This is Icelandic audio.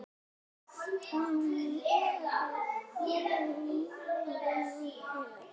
Hún vinnur ekki fólki mein.